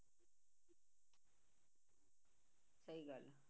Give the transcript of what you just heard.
ਸਹੀ ਗੱਲ ਹੈ